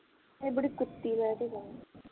ਇਹ ਬੜੀ ਕੁੱਤੀ ਹੈਗੀ